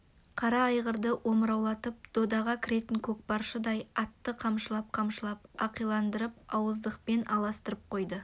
қара айғырды омыраулатып додаға кіретін көкпаршыдай атты қамшылап-қамшылап ақиландырып ауыздықпен алыстырып қойды